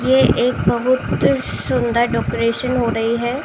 ये एक पवित्र सुन्दर डेकोरेशन हो रही है।